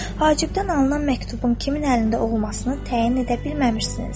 Hacibdən alınan məktubun kimin əlində olmasını təyin edə bilməmişsiniz.